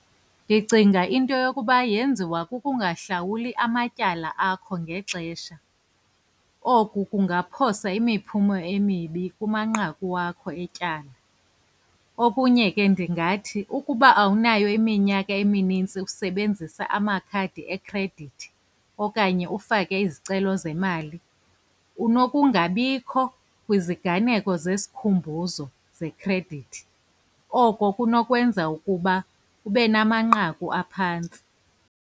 Ndicinga into yokuba yenziwa kukungahlawuli amatyala akho ngexesha. Oku kungaphosa imiphumo emibi kumanqaku wakho etyala, okunye ke ndingathi ukuba awunayo iminyaka eminintsi usebenzisa amakhadi ekhredithi, okanye ufake izicelo zemali, unokungabikho kwiziganeko zesikhumbuzo zekhredithi. Oko kunokwenza ukuba ube namanqaku aphantsi.